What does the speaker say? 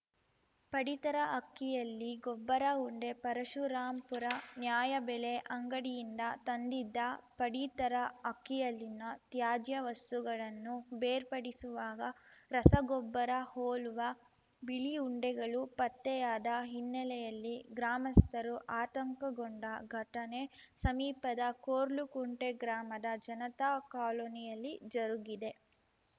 ಪಡಿತರ ಅಕ್ಕಿಯಲ್ಲಿ ಗೊಬ್ಬರ ಉಂಡೆ ಪರಶುರಾಂಪುರ ನ್ಯಾಯಬೆಲೆ ಅಂಗಡಿಯಿಂದ ತಂದಿದ್ದ ಪಡಿತರ ಅಕ್ಕಿಯಲ್ಲಿನ ತ್ಯಾಜ್ಯವಸ್ತುಗಳನ್ನು ಬೇರ್ಪಡಿಸುವಾಗ ರಸಗೊಬ್ಬರ ಹೋಲುವ ಬಿಳಿ ಉಂಡೆಗಳು ಪತ್ತೆಯಾದ ಹಿನ್ನೆಲೆಯಲ್ಲಿ ಗ್ರಾಮಸ್ಥರು ಆತಂಕಗೊಂಡ ಘಟನೆ ಸಮೀಪದ ಕೊರ್ಲಕುಂಟೆ ಗ್ರಾಮದ ಜನತಾ ಕಾಲೊನಿಯಲ್ಲಿ ಜರುಗಿದೆ